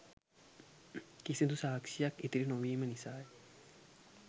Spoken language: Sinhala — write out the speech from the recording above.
කිසිදු සාක්ෂියක් ඉතිරි නොවීම නිසාය